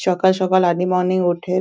সকাল সকাল early morning -এ উঠে ।